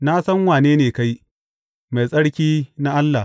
Na san wane ne kai, Mai Tsarki na Allah!